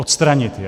Odstranit je.